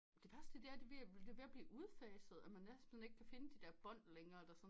Det værste er at det er ved at blive udfaset at man næsten ikke kan finde de bånd længere der sådan